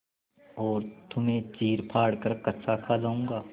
और तुम्हें चीरफाड़ कर कच्चा खा जाऊँगा